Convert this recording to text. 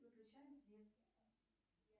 выключаем свет